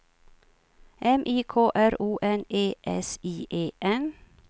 M I K R O N E S I E N